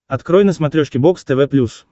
открой на смотрешке бокс тв плюс